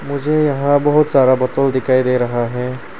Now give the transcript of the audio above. मुझे यहां बहुत सारा बोतल दिखाई दे रहा है।